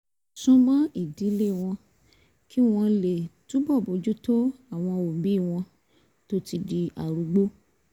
sún mọ́ ìdílé wọn kí wọ́n lè túbọ̀ bójú tó àwọn òbí wọn tó ti darúgbó